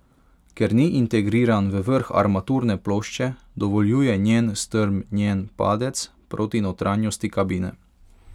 Ker ni integriran v vrh armaturne plošče, dovoljuje njen strm njen padec proti notranjosti kabine.